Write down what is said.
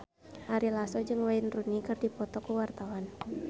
Ari Lasso jeung Wayne Rooney keur dipoto ku wartawan